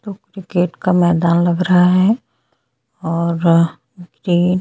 cricket का मैदान लग रहा है और ये--